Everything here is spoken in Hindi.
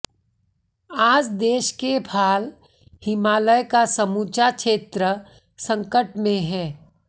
आज देश के भाल हिमालय का समूचा क्षेत्र संकट में है